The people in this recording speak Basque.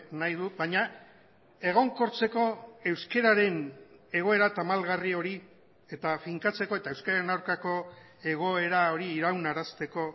nahi du baina egonkortzeko euskararen egoera tamalgarri hori eta finkatzeko eta euskararen aurkako egoera hori iraunarazteko